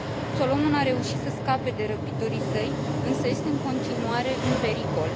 Solomon a reușit să scape de răpitorii săi, însă este, în continuare, în pericol.